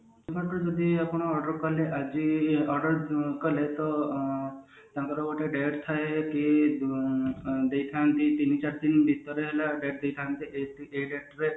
ଆପଣ order କଲେ ଆଜି order କଲେ ତ ଆଁ ତାଙ୍କର ଗୋଟେ date ଥାଏ ଯେ କି ତିନିଚାରି ଦିନ ଭିତରେ date ଦେଇଥାନ୍ତି ଯେ ଏଇ date ଭିତରେ